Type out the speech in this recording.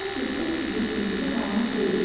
Belə ki, bu sizin indiki halınız deyil.